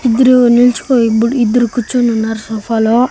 ఇద్దరు నిల్చుకో ఇబ్బుడు ఇద్దరు కూర్చొనున్నారు సోఫాలో .